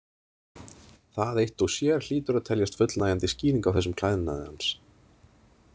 Það eitt og sér hlýtur að teljast fullnægjandi skýring á þessum klæðnaði hans.